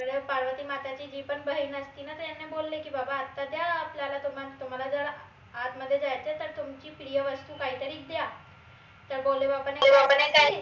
पार्वती मताची जी पन बहीन असती न त यांनी बोलले की बाबा आता द्या आपल्याला तुम्हाला तुम्हाला जर आतमध्ये जायचंय तर तुमची प्रिय वस्तू काहीतरी द्या तर भोले बाबाने